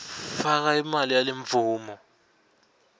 faka imali yalemvumo